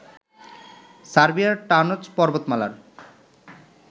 সার্বিয়ার টানজ পর্বতমালার